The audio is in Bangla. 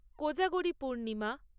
কোজাগরী পূর্ণিমা